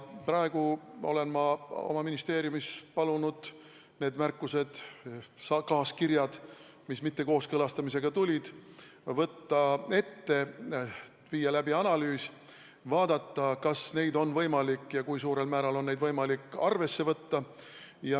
Praegu olen ma oma ministeeriumis palunud need märkused, kaaskirjad, mis mittekooskõlastamisega seoses tulid, ette võtta, viia läbi analüüs, vaadata, kas neid on võimalik arvesse võtta ja kui on, siis mil määral.